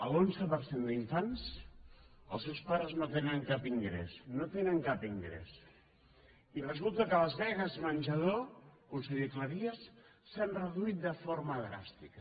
l’onze per cent d’infants els seus pares no tenen cap ingrés no tenen cap ingrés i resulta que les beques menjador conseller cleries s’han reduït de forma dràstica